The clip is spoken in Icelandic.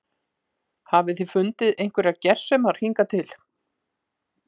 Hafið þið fundið einhverjar gersemar hingað til?